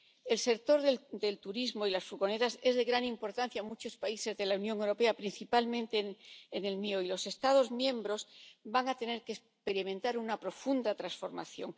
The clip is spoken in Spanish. El sector de los turismos y las furgonetas es de gran importancia en muchos países de la Unión Europea, principalmente en el mío, y los Estados miembros van a tener que experimentar una profunda transformación.